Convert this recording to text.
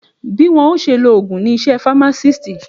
Bí wọ́n ó ṣe lo ògùn ni iṣẹ́ famatisti